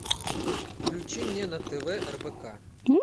включи мне на тв рбк